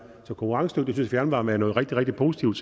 så konkurrencedygtig fjernvarme er noget rigtig rigtig positivt